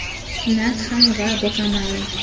na kgang rraabo kana re